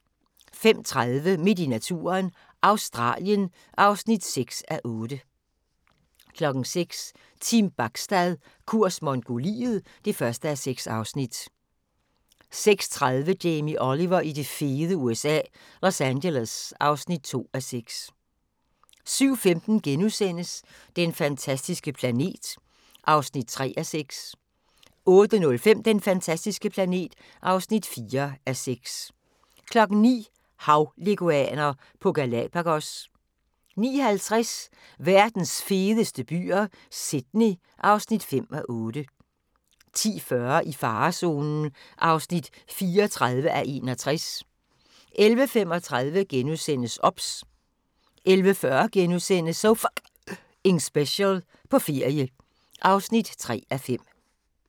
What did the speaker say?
05:30: Midt i naturen – Australien (6:8) 06:00: Team Bachstad – kurs Mongoliet (1:6) 06:30: Jamie Oliver i det fede USA – Los Angeles (2:6) 07:15: Den fantastiske planet (3:6)* 08:05: Den fantastiske planet (4:6) 09:00: Havleguaner på Galapagos 09:50: Verdens fedeste byer - Sydney (5:8) 10:40: I farezonen (34:61) 11:35: OBS * 11:40: So F***ing Special – på ferie (3:5)*